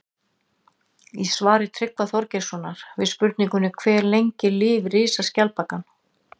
Í svari Tryggva Þorgeirssonar við spurningunni Hve lengi lifir risaskjaldbakan?